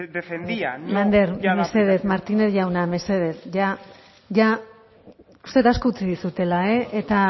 defendía lander mesedez martínez jauna mesedez ya ya uste dut asko utzi dizudala eta